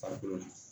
Farikolo la